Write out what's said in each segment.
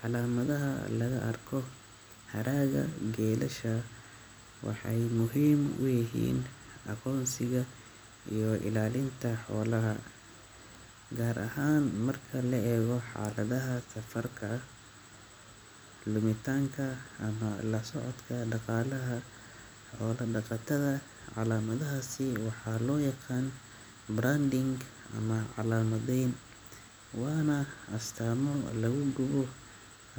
Calamadaha laga arko haragga geelasha waxay muhiim u yihiin aqoonsiga iyo ilaalinta xoolaha, gaar ahaan marka la eego xaaladaha safarka, lumitaanka, ama la socodka dhaqaalaha xoola-dhaqatada. Calamadahaasi waxaa loo yaqaan branding ama calaamadayn, waana astaamo lagu gubo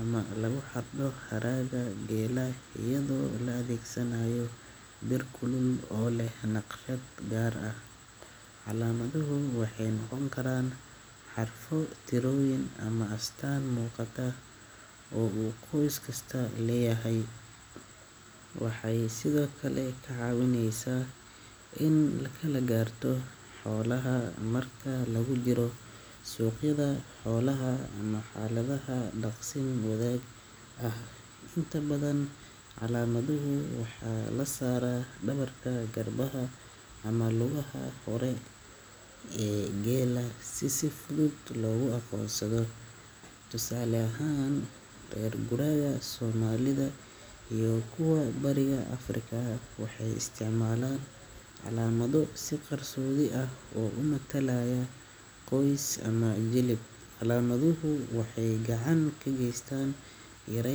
ama lagu xardho haragga geela iyadoo la adeegsanayo bir kulul oo leh naqshad gaar ah. Calaamaduhu waxay noqon karaan xarfo, tirooyin, ama astaan muuqata oo uu qoys kasta leeyahay. Waxay sidoo kale kaa caawinayaan in la kala garto xoolaha marka lagu jiro suuqyada xoolaha ama xaaladaha daaqsin wadaagga ah. Inta badan, calaamaduhu waxaa la saaraa dhabarka, garbaha, ama lugaha hore ee geela si si fudud loogu aqoonsado. Tusaale ahaan, reer guuraaga soomaalida iyo kuwa bariga Africa waxay isticmaalaan calaamado si qarsoodi ah u matalaya qoys ama jilib. Calaamaduhu waxay gacan ka geystaan yare.